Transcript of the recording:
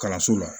Kalanso la